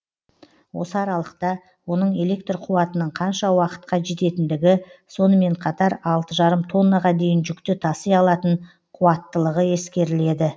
осы аралықта оның электр қуатының қанша уақытқа жететіндігі сонымен қатар алты жарым тоннаға дейін жүкті таси алатын қуаттылығы ескеріледі